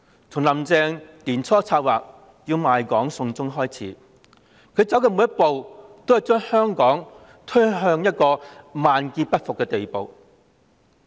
從"林鄭"年初策劃賣港"送中"開始，她走的每一步也將香港推向萬劫不復的地步。